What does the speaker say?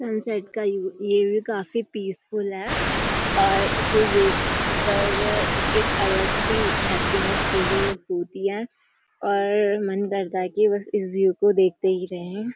Sunset का ये ये व्यू काफ़ी पीसफुल है और इसे देख कर एक अलग सी हैप्पीनेस फील होती है और मन करता है कि बस इस व्यू को देखते ही रहें।